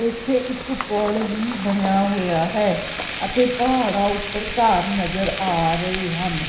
ਇੱਥੇ ਇੱਕ ਪੁੱਲ ਵੀ ਬਣਿਆ ਹੋਇਆ ਹੈ ਅਤੇ ਪਹਾੜਾ ਉੱਪਰ ਘਰ ਨਜ਼ਰ ਆ ਰਹੇ ਹਨ।